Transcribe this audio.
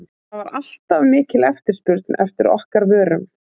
það var alltaf mikil eftirspurn eftir okkar vörum.